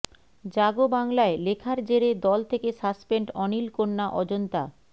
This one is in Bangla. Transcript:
জাগো বাংলায় লেখার জেরে দল থেকে সাসপেন্ড অনীল কন্যা অজন্তা